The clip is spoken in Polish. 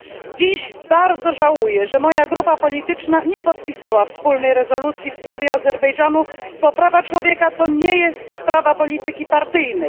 Dziś bardzo żałuję, że moja grupa polityczna nie podpisała wspólnej rezolucji w sprawie Azerbejdżanu, bo prawa człowieka to nie jest sprawa polityki partyjnej.